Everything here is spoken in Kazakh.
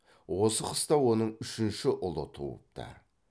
осы қыста оның үшінші ұлы туыпты